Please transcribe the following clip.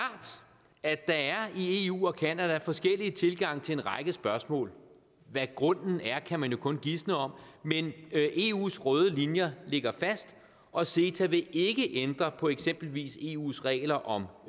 at der i eu og canada er forskellige tilgange til en række spørgsmål hvad grunden er kan man jo kun gisne om men eus røde linjer ligger fast og ceta vil ikke ændre på eksempelvis eus regler om